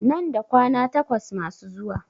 Nan da kwana takwas masu zusa